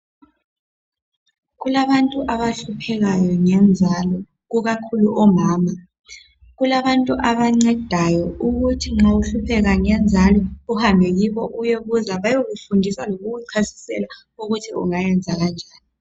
Kulabantu abahluphekayo ngenzalo ikakhulu omama. Kulabantu abancedayo ukuthi nxa uhlupheka ngenzalo uhambe kibo uyebuza bayekufundisa lokukuchasisela ukuthi ungayenza kanjani.